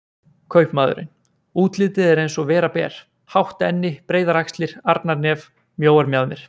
Kaupmaðurinn: útlitið er eins og vera ber, hátt enni, breiðar axlir, arnarnef, mjóar mjaðmir.